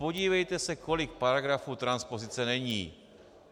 Podívejte se, kolik paragrafů transpozice není.